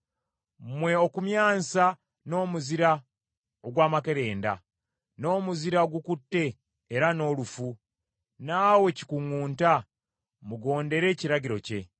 mmwe okumyansa, n’omuzira ogw’amakerenda, n’omuzira ogukutte era n’olufu, naawe kikuŋŋunta, mugondere ekiragiro kye,